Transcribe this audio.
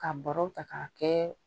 Ka bɔrɔ ta k'a kɛ